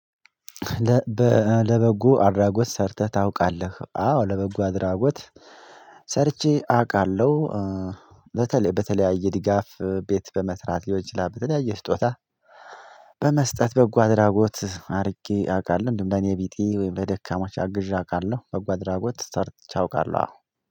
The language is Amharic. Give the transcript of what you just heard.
ለበጎ አድራጎት ሰርተህ ታውቃለህ? አዎ ለበጎ አድራጎት ሰርቼ አውቃለሁ በተለይ በተለያየ ድጋፍ ቤት በመስራት ሊሆን ይችላል በተለያየ ስጦታ በመስጠት በጎ አድራጎት አድርጌ አውቃለሁ እንዲሁም ለኔ ቢጤ ወይም ለደካማች አግዣ አውቃለሁ በጎ አድራጎት ሰርች አውቃለሁ አዎ